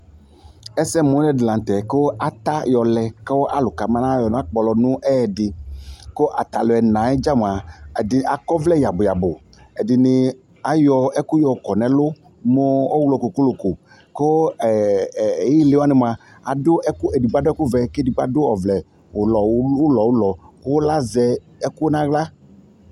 Ɛsɛmʋlɛ dɩ la tɛ kʋ ata yɔlɛ kʋ alʋ kabanayɔ nakpɔlɔ nʋ ɛyɛdɩ kʋ ata alʋ ɛna yɛ dza mʋa, ɛdɩ akɔ ɔvlɛ yabʋ yabʋ Ɛdɩnɩ ayɔ ɛkʋ yɔkɔ nʋ ɛlʋ mʋ ɔɣlɔ kokoloko kʋ ɛ ɛ ɩɩlɩ wanɩ mʋa, adʋ ɛkʋ, edigbo adʋ ɛkʋvɛ kʋ edigbo adʋ ɔvlɛ ʋlɔ ulu ʋlɔ ʋlɔ kʋ azɛ ɛkʋ nʋ aɣla